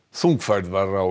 þung færð var á